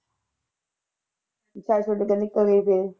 ਛੱਡ ਛੁੱਡ ਕੇ ਨਿਕਲ ਗਈ ਫਿਰ।